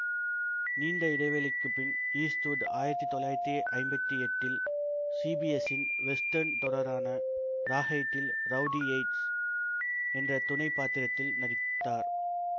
நீண்ட இடைவேளைக்குப்பின் ஈஸ்ட்வுட் ஆயிரத்தி தொள்ளாயிரத்தி ஐம்பத்தி எட்டில் சிபிஎஸின் வெஸ்டர்ன் தொடரான ராஹைடில் ரவுடி யேட்ஸ் என்ற துணை பாத்திரத்தில் நடித்தார்